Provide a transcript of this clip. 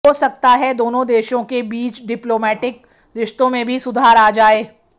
हो सकता है दोनों देशों के बीच डिप्लोमैटिक रिश्तों में भी सुधार आ जाए